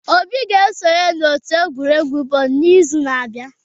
Obi ga-esonye n'otu egwuregwu bọọlụ n'izu na-abịa.